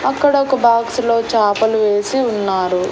అక్కడొక బాక్స్ లో చాపలు వేసి ఉన్నారు.